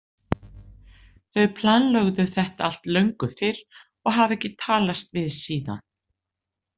Þau planlögðu þetta allt löngu fyrr og hafa ekki talast við síðan.